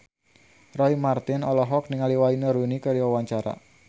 Roy Marten olohok ningali Wayne Rooney keur diwawancara